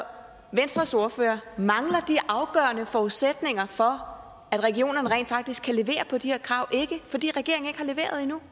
venstres ordfører mangler de afgørende forudsætninger for at regionerne rent faktisk kan levere på de her krav ikke fordi regeringen ikke har leveret endnu